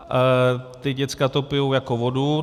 Ta děcka to pijou jako vodu.